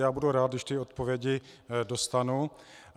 Já budu rád, když ty odpovědi dostanu.